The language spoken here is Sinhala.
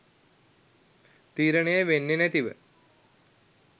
තීරණය වෙන්නේ නැතිව.